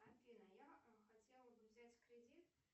афина я хотела бы взять кредит